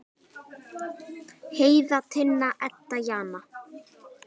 Heiða, Tinna, Edda og Jana.